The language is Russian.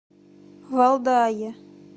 валдае